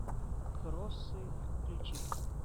кроссы включи